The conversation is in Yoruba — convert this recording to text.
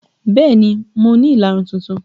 Bẹẹ ni, mo ní ìlarun tuntun